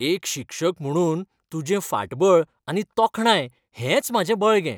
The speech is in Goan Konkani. एक शिक्षक म्हुणून तुजें फाटबळ आनी तोखणाय हेंच म्हाजें बळगें.